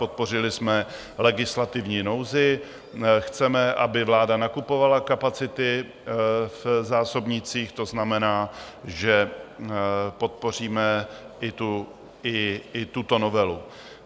Podpořili jsme legislativní nouzi, chceme, aby vláda nakupovala kapacity v zásobnících, to znamená, že podpoříme i tuto novelu.